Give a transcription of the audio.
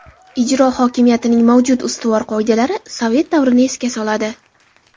Ijro hokimiyatining mavjud ustuvor qoidalari sovet davrini esga soladi.